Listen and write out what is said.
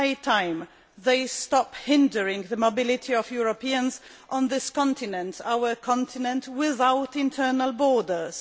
It is high time these stop hindering the mobility of Europeans on this continent our continent without internal borders.